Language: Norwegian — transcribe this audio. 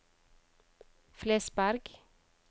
Flesberg